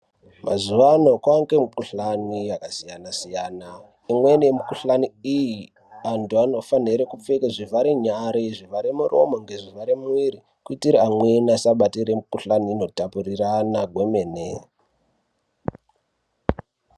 Mazuwa ai kwaange mikuhlani yakasiyana siyana imweni yemikuhlani iyi anthu anofanire kupfeke zvivhare nyara, zvivgare murome nezvivharee muwiri kuitire amweni asabatire mikuhlani inotapurirana kwemene.